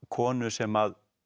konu sem